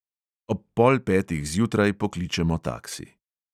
Ob pol petih zjutraj pokličemo taksi.